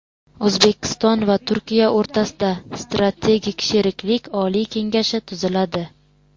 O‘zbekiston va Turkiya o‘rtasida Strategik sheriklik oliy kengashi tuziladi.